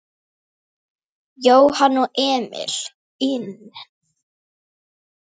Jóhann og Emil inn?